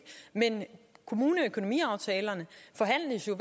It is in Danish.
men kommuneøkonomiaftalerne forhandles jo